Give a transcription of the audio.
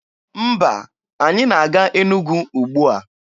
Mba, anyị na-aga Enugwu ugbua.